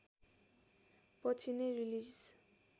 पछि नै रिलिज